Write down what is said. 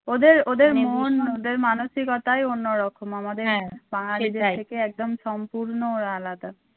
ওদের ওদের মন ওদের মানসিকতাই অন্যরকম আমাদের বাঙালী থেকে একদম সম্পূর্ণ ওরা আলাদা।